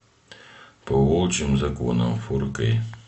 по волчьим законам фор кей